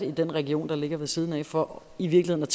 i den region der ligger ved siden af for i virkeligheden